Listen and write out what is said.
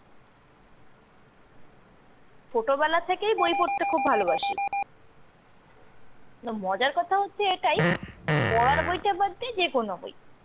ছোটবেলা থেকেই বই পড়তে খুবও ভালোবাসি। কিন্তু মজার কথা হচ্ছে এটাই, পড়ার বইটা বাদ দিয়ে যেকোনো বই।